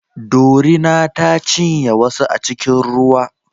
Dorina ta cinye wasu a cikin ruwa